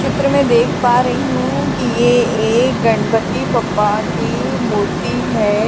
चित्र में देख पा रही हूं कि ये एक गणपति पप्पा की मूर्ति है।